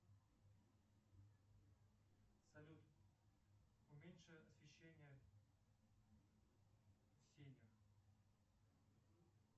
салют уменьши освещение в сенях